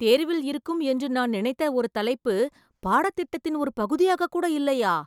தேர்வில் இருக்கும் என்று நான் நினைத்த ஒரு தலைப்பு பாடத்திட்டத்தின் ஒரு பகுதியாக கூட இல்லையா!